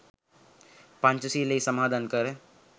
පංචශීලයෙහි සමාදන් කර